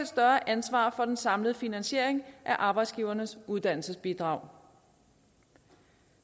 større ansvar for den samlede finansiering af arbejdsgivernes uddannelsesbidrag